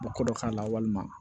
Bɔ dɔ k'a la walima